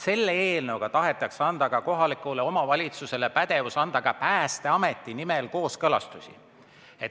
Selle eelnõuga tahetakse anda kohalikule omavalitsusele pädevus anda ka Päästeameti nimel kooskõlastusi.